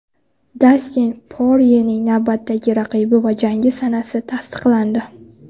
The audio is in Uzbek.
Dastin Poryening navbatdagi raqibi va jangi sanasi tasdiqlandi.